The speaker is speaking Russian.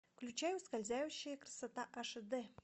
включай ускользающая красота аш дэ